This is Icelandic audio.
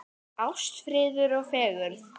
Ást, friður og fegurð.